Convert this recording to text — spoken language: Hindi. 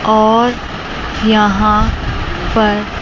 और यहां पर--